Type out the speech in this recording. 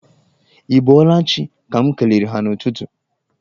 Ị bọọla chi' ka m kelere ha n'ụtụtụ.